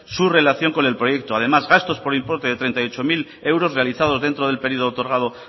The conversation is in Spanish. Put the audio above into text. su relación con el proyecto además gastos por importe de treinta y ocho mil euros realizado dentro del periodo otorgado